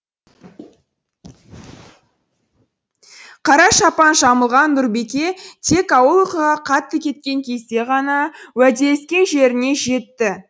қара шапан жамылған нұрбике тек ауыл ұйқыға қатты кеткен кезде ғана уәделескен жеріне жетті